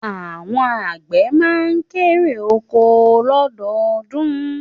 Àwọn àgbẹ̀ má n kérè oko lọ́dọọdún